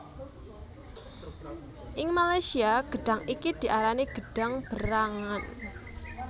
Ing Malaysia gedhang iki diarani gedhang berangan